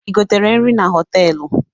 I gotere nri na họtelụ?